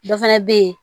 Dɔ fana bɛ yen